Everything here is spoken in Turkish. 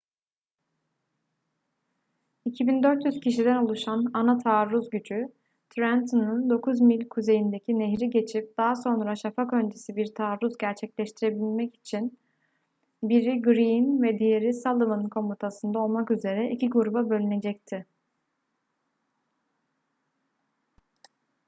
2.400 kişiden oluşan ana taarruz gücü trenton'un dokuz mil kuzeyindeki nehri geçip daha sonra şafak öncesi bir taarruz gerçekleştirmek için biri greene ve diğeri sullivan komutasında olmak üzere iki gruba bölünecekti